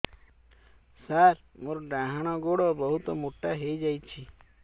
ସାର ମୋର ଡାହାଣ ଗୋଡୋ ବହୁତ ମୋଟା ହେଇଯାଇଛି